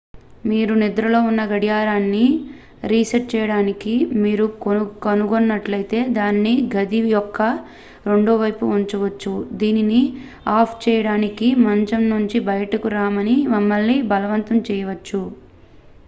మీరు నిద్రలో ఉన్న గడియారాన్ని రీసెట్ చేయడం మీరు కనుగొన్నట్లయితే దానిని గది యొక్క రెండో వైపు ఉంచవచ్చు దీనిని ఆఫ్ చేయడానికి మంచం నుంచి బయటకు రామని మిమ్మల్ని బలవంతం చేయవచ్చు